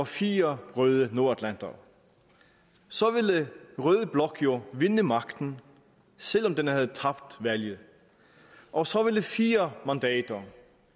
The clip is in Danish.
fire røde nordatlantere så ville rød blok jo vinde magten selv om den havde tabt valget og så ville fire mandater